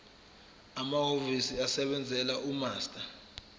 amahhovisi asebenzela umaster